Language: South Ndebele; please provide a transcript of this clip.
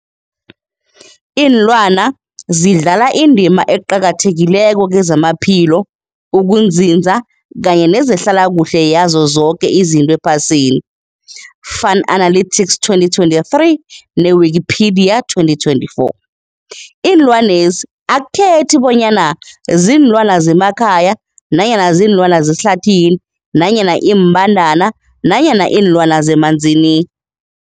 Ilwana zidlala indima eqakathekileko kezamaphilo, ukunzinza kanye nezehlala kuhle yazo zoke izinto ephasini, Fuanalytics 2023, ne-Wikipedia 2024. Iinlwana lezi akukhethi bonyana ziinlwana zemakhaya nanyana kuziinlwana zehlathini nanyana iimbandana nanyana iinlwana zemanzini.